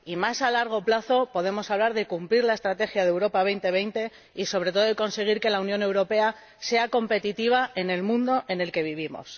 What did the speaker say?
Y más a largo plazo, podemos hablar de cumplir la Estrategia Europa 2020 y, sobre todo, de conseguir que la Unión Europea sea competitiva en el mundo en el que vivimos.